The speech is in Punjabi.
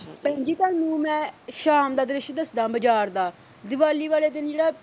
ਭੈਣ ਜੀ ਤੁਹਾਨੂੰ ਮੈਂ ਸ਼ਾਮ ਦਾ ਦ੍ਰਿਸ਼ ਦੱਸਦਾ ਬਾਜ਼ਾਰ ਦਾ ਦਿਵਾਲੀ ਵਾਲੇ ਦਿਨ ਜਿਹੜਾ